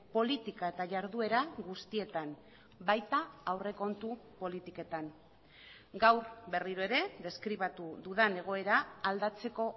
politika eta jarduera guztietan baita aurrekontu politiketan gaur berriro ere deskribatu dudan egoera aldatzeko